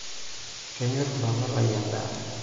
Kenyorr mpapa lai endaa.